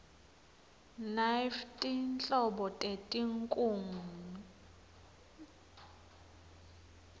nanyfti nhlobo teti nkhungn